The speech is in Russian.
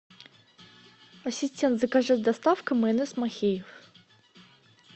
ассистент закажи с доставкой майонез махеев